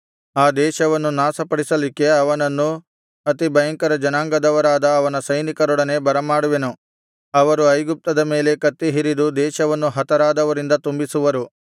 ಆ ದೇಶವನ್ನು ನಾಶಪಡಿಸಲಿಕ್ಕೆ ಅವನನ್ನು ಅತಿಭಯಂಕರ ಜನಾಂಗದವರಾದ ಅವನ ಸೈನಿಕರೊಡನೆ ಬರಮಾಡುವೆನು ಅವರು ಐಗುಪ್ತದ ಮೇಲೆ ಕತ್ತಿ ಹಿರಿದು ದೇಶವನ್ನು ಹತರಾದವರಿಂದ ತುಂಬಿಸುವರು